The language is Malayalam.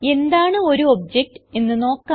എന്താണ് ഒരു ഒബ്ജക്ട് എന്ന് നോക്കാം